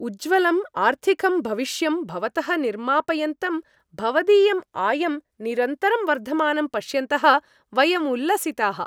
उज्ज्वलं आर्थिकं भविष्यं भवतः निर्मापयन्तं भवदीयम् आयं निरन्तरं वर्धमानं पश्यन्तः, वयं उल्लसिताः।